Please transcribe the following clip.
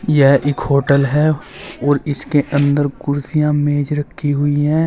यह एक होटल है और इसके अंदर कुर्सियां मेज रखी हुई हैं।